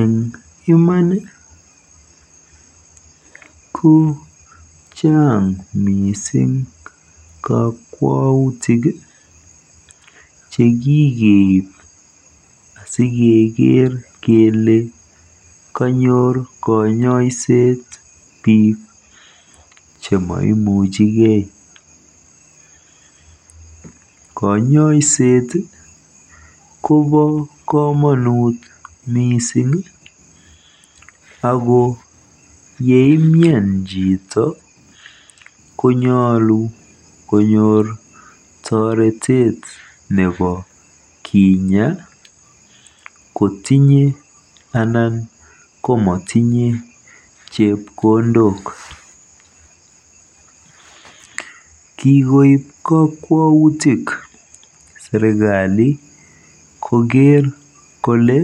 Eeng iman ko chaang kakwoutik chekikeib asikeker kele kanyor biik kanyoiset mising ko biik chememuchigei. Kanyoiset kobo komonut mising ako yeimian chito konyoolu konyoor toretet nebo kinya kotinye anan ko matinye chepkondok. Kikoip kakwautik serikali koker kole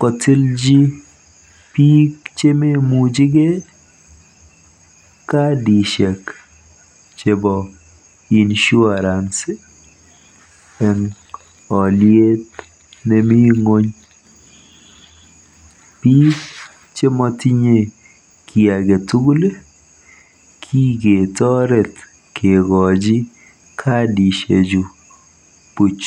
kotilji biik chememuchigei kadishek chebo insurance eng oliet nemi ng'ony. Biik che matinye kiy age tugul kiketoret kekochi kadishechu buuch.